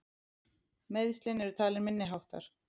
Meiðslin eru talin minniháttar